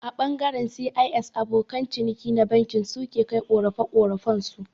A ɓangaren C.I.S abokan ciniki na banki su ke kai ƙorafe-ƙorafen su